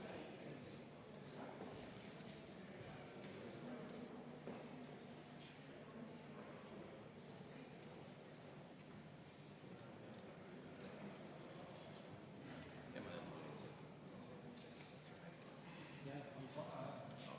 Panen hääletusele Eesti Konservatiivse Rahvaerakonna fraktsiooni ettepaneku Vabariigi Valitsuse algatatud sotsiaalhoolekande seaduse ja teiste seaduste muutmise seaduse eelnõu 295 esimesel lugemisel tagasi lükata.